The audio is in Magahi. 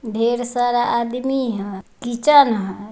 ढ़ेर सारा आदमी है किचन है।